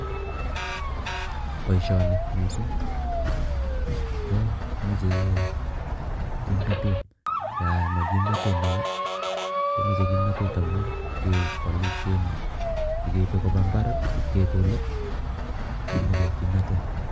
Boisioni mising komechei kimnotet ngama kimnotet neo komeche kimnotet amun kepolu keipe koba imbaar ipkekolei komechei kimnatet.